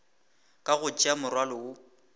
ka go tšea morwalo wo